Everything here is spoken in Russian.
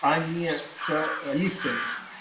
а не с лифтами